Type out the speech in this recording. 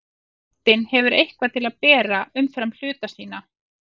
Heildin hefur eitthvað til að bera umfram hluta sína.